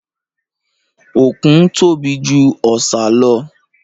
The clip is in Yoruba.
Òkun tóbi jù ọ̀sà.